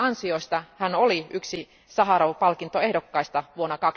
Näistä ansioistaan hän oli yksi Saharov palkintoehdokkaista vuonna